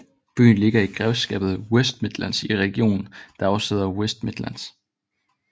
Byen ligger i grevskabet West Midlands i regionen der også hedder West Midlands